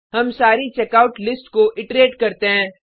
हम सारी checkout list को इट्रेट करते हैं